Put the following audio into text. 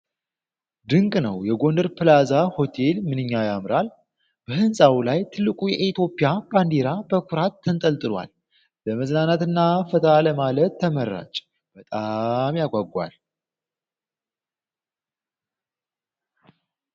ድንቅ ነው! የጎንደር ፕላዛ ሆቴል ምንኛ ያምራል! በህንጻው ላይ ትልቁ የኢትዮጵያ ባንዲራ በኩራት ተንጠልጥሏል፤ ለመዝናናትና ፈታ ለማለት ተመራጭ በጣም ያጓጓል!